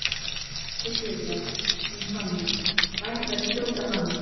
Þessi tuðra, hún Sonja, það ætti að skjóta hana